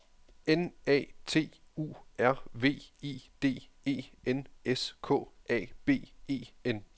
N A T U R V I D E N S K A B E N